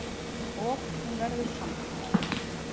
Og hún verður samþykkt.